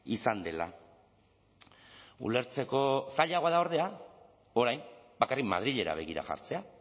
izan dela ulertzeko zailagoa da ordea orain bakarrik madrilera begira jartzea